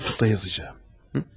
Mektub da yazacağam.